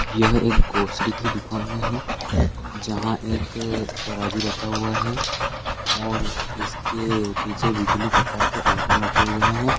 यह एक ग्रोसरी की दुकान है जहाँ एक तराजू रखा हुआ है और इस के पीछे विभिन्न प्रकार के आईटम रखे हुए हैं।